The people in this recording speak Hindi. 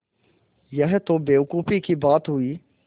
यह तो बेवकूफ़ी की बात हुई